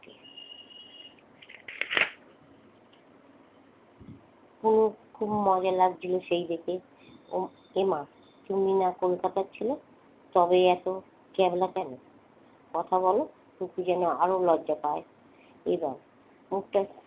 খুব খুব মজা লাগছিল সেই দেখে। এমা তুমি না কলকাতার ছেলে? তবে এত ক্যাবলা কেন? কথা বল টুকু যেন আরো লজ্জা পায়। এবার মুখটা,